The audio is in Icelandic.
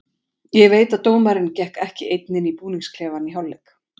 Ég veit að dómarinn gekk ekki einn inn í búningsklefann í hálfleik.